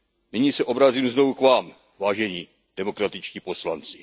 Nyní se obracím znovu k vám, vážení demokratičtí poslanci.